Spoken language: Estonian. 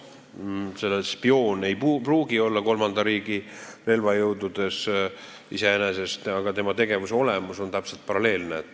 Spioon ei pruugi iseenesest olla kolmanda riigi relvajõududes, aga tema tegevuse olemus on täpselt paralleelne.